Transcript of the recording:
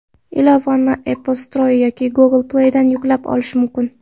Ilovani AppStore yoki Google Play ’dan yuklab olish mumkin.